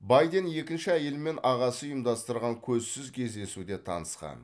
байден екінші әйелімен ағасы ұйымдастырған көзсіз кездесуде танысқан